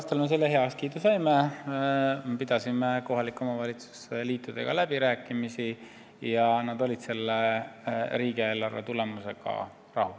Sellel aastal me heakskiidu saime, pidasime kohalike omavalitsuste liitudega läbirääkimisi ja nad olid riigieelarvega rahul.